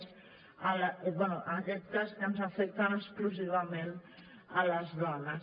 bé en aquest cas que ens afecten exclusivament a les dones